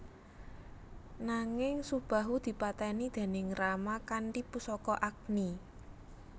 Nanging Subahu dipateni déning Rama kanthi pusaka Agni